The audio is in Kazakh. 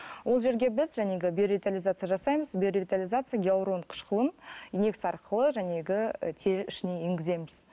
ол жерге біз биоревитализация жасаймыз биоревитализация гиалурон қышқылын инекция арқылы тері ішіне енгіземіз